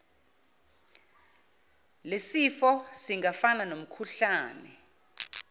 lesifo singafana nomkhuhlane